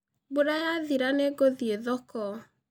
Mbura yathira nĩ ngũthiĩ thoko.